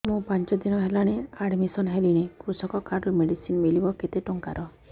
ମୁ ପାଞ୍ଚ ଦିନ ହେଲାଣି ଆଡ୍ମିଶନ ହେଲିଣି କୃଷକ କାର୍ଡ ରୁ ମେଡିସିନ ମିଳିବ କେତେ ଟଙ୍କାର